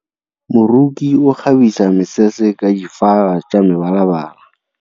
Moroki o kgabisa mesese ka difaga tsa mebalabala.